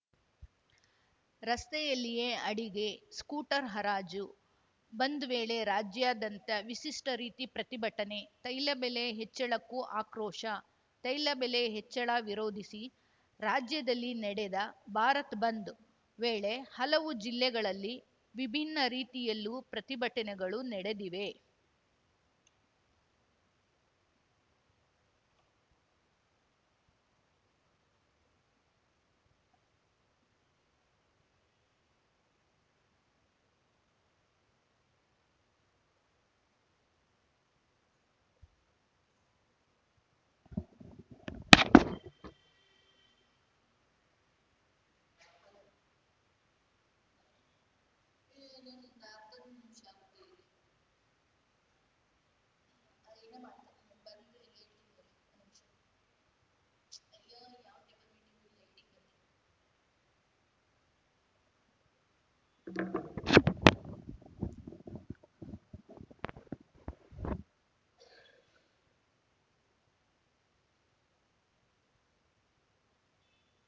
ರಸ್ತೆಯಲ್ಲಿಯೇ ಅಡುಗೆ ಸ್ಕೂಟರ್‌ ಹರಾಜು ಬಂದ್‌ ವೇಳೆ ರಾಜ್ಯಾದ್ಯಂತ ವಿಶಿಷ್ಟರೀತಿ ಪ್ರತಿಭಟನೆ ತೈಲ ಬೆಲೆ ಹೆಚ್ಚಳಕ್ಕೂ ಆಕ್ರೋಶ ತೈಲ ಬೆಲೆ ಹೆಚ್ಚಳ ವಿರೋಧಿಸಿ ರಾಜ್ಯದಲ್ಲಿ ನಡೆದ ಭಾರತ ಬಂದ್‌ ವೇಳೆ ಹಲವು ಜಿಲ್ಲೆಗಳಲ್ಲಿ ವಿಭಿನ್ನ ರೀತಿಯಲ್ಲೂ ಪ್ರತಿಭಟನೆಗಳು ನಡೆದಿವೆ